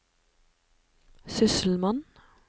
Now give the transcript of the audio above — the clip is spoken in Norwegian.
sysselmann